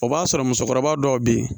O b'a sɔrɔ musokɔrɔba dɔw bɛ yen